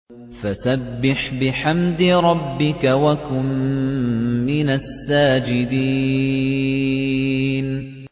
فَسَبِّحْ بِحَمْدِ رَبِّكَ وَكُن مِّنَ السَّاجِدِينَ